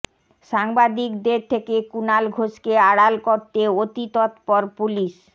সাংবাদিকদের থেকে কুণাল ঘোষকে আড়াল করতে অতি তত্পর পুলিস